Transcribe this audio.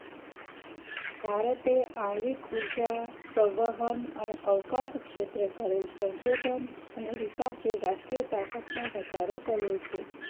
ભારતે આણ્વિક ઉર્જા સંવહન અને અવકાશ ક્ષેત્ર કરેલ સંશોધન અને વિકાસ એ રાષ્ટ્રીય તાકાતમાં વધારો કર્યો છે